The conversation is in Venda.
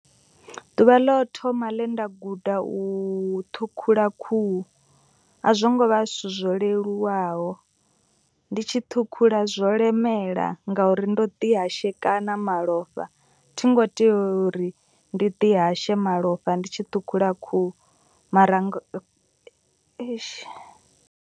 Ḓuvha ḽo thoma ḽe nda guda u ṱhukhula khuhu. A zwo ngo vha zwithu zwo leluwaho ndi tshi ṱhukhula zwo lemela ngauri ndo ḓi hashekana malofha. Thi ngo tea uri ndi ḓi hashe malofha ndi tshi ṱhukhula khuhu mara eish.